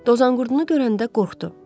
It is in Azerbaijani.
Dozanqurdunu görəndə qorxdu.